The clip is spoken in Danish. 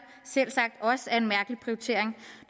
selvsagt også er en mærkelig prioritering